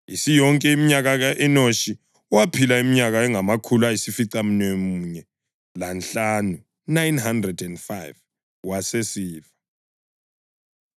Isiyonke iminyaka, u-Enoshi waphila iminyaka engamakhulu ayisificamunwemunye lanhlanu (905), wasesifa.